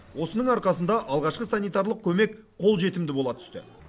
осының арқасында алғашқы санитарлық көмек қолжетімді бола түсті